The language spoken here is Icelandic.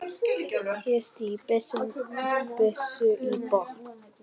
Ég stíg byssuna í botn.